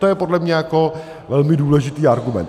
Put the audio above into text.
To je podle mě jako velmi důležitý argument.